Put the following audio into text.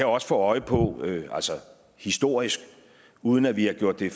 også få øje på historisk uden at vi har gjort det